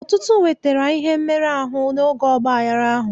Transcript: Ọtụtụ nwetara ihe mmerụ ahụ n'oge ọgbaghara ahụ.